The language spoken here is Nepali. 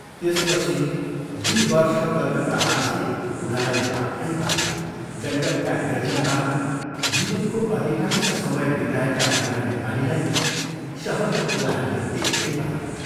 त्यसपछि दुइ वर्ष कलकत्तावासले बूढालाई वाक्कै पाऱ्यो जङ्गलका निर्जनतामा जीवनको अधिकांश समय बिताएका बूढा नेपालीलाई शहरको कोलाहलले दिक्कै पाऱ्यो।